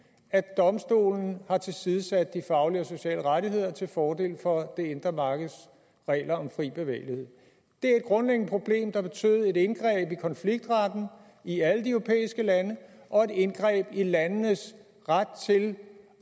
at domstolen har tilsidesat de faglige og sociale rettigheder til fordel for det indre markeds regler om fri bevægelighed det er et grundlæggende problem der betød et indgreb i konfliktretten i alle de europæiske lande og et indgreb i landenes ret til